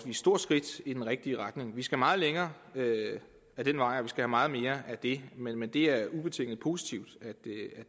stort skridt i den rigtige retning vi skal meget længere ad den vej og vi skal have meget mere af det men det er ubetinget positivt at